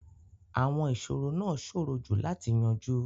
Àwọn ìṣòro náà ṣòro jù láti yanjú.